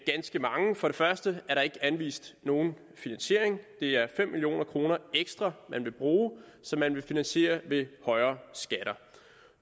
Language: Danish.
ganske mange for det første er der ikke anvist nogen finansiering det er fem million kroner ekstra man vil bruge og som man vil finansiere ved højere skatter